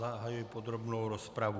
Zahajuji podrobnou rozpravu.